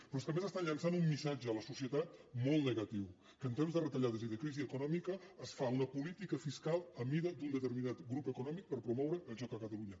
però és que a més estan llançant un missatge a la societat molt negatiu que en temps de retallades i de crisi econòmica es fa una política fiscal a mida d’un determinat grup econòmic per promoure el joc a catalunya